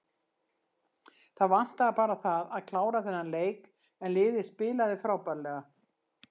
Það vantaði bara það að klára þennan leik en liðið spilaði frábærlega.